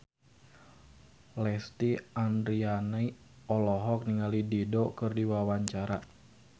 Lesti Andryani olohok ningali Dido keur diwawancara